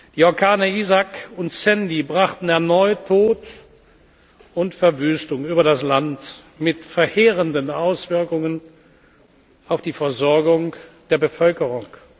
Die Orkane Isaac und Sandy brachten erneut Tod und Verwüstung über das Land mit verheerenden Auswirkungen auf die Versorgung der Bevölkerung.